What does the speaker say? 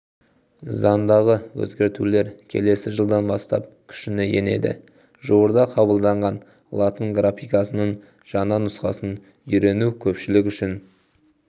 заңдағы өзгертулер келесі жылдан бастап күшіне енеді жуырда қабылданған латын графикасының жаңа нұсқасын үйрену көпшілік үшін